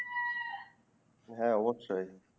হ্যা অবশ্যই